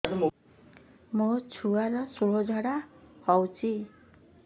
ମୋ ଛୁଆର ସୁଳା ଝାଡ଼ା ହଉଚି